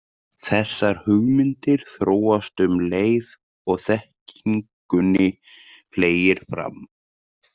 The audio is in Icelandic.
Þessar hugmyndir þróast um leið og þekkingunni fleygir fram.